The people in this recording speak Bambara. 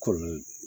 Kɔlɔ